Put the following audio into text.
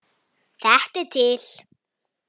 Þetta er til.